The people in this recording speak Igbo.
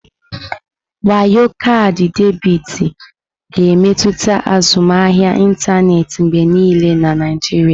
Wayo kaadị debiti ga-emetụta azụmahịa ịntanetị mgbe niile na Naijiria.